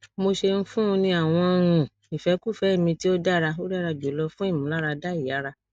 mo ṣeun fun u ni awọn um ifẹkufẹ mi ti o dara o dara julọ fun imularada iyara